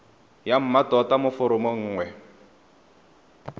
ya mmatota mo foromong nngwe